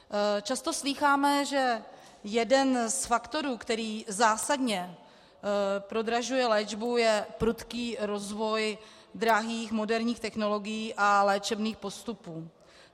Často slýcháme, že jeden z faktorů, který zásadně prodražuje léčbu, je prudký rozvoj drahých moderních technologií a léčebných postupů.